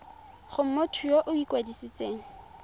go motho yo o ikwadisitseng